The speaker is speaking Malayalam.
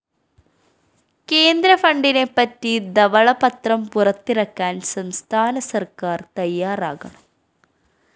കേന്ദ്ര ഫണ്ടിനെപ്പറ്റി ധവള പത്രം പുറത്തിറക്കാന്‍ സംസ്ഥാന സര്‍ക്കാര്‍ തയ്യാറാകണം